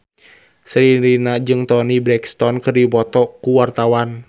Sherina jeung Toni Brexton keur dipoto ku wartawan